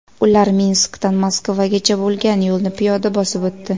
Ular Minskdan Moskvagacha bo‘lgan yo‘lni piyoda bosib o‘tdi.